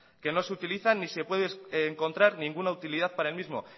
que no se utiliza ni se puede encontrar ninguna utilidad para el mismo